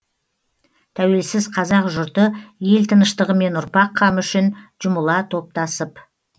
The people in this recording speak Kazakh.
тәуелсіз қазақ жұрты ел тыныштығы мен ұрпақ қамы үшін жұмыла топтасып